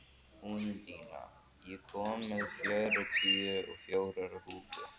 Úndína, ég kom með fjörutíu og fjórar húfur!